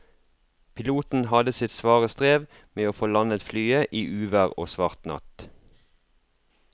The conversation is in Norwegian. Piloten hadde sitt svare strev med å få landet flyet i uvær og svart natt.